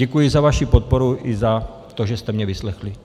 Děkuji za vaši podporu i za to, že jste mě vyslechli.